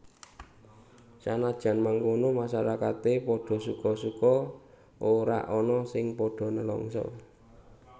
Sanajan mangkono masyarakate padha suka suka ora ana sing padha nelangsa